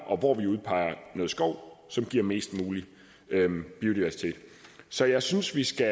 og hvor vi udpeger noget skov som giver mest mulig biodiversitet så jeg synes vi skal